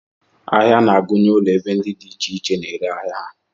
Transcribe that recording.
Ahịa na-agụnye ulo ebe ndị dị iche iche na-ere ahịa ha